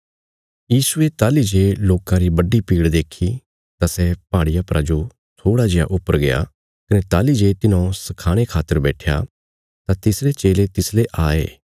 यीशुये ताहली जे लोकां री ये बड्डी भीड़ देक्खी तां सै पहाड़िया परा जो थोड़ा जेआ ऊपर गया कने ताहली जे तिन्हौं सखाणे खातर बैट्ठया तां तिसरे चेले तिसले आये